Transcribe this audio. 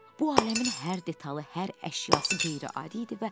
Bu aləmin hər detalı, hər əşyası qeyri-adi idi.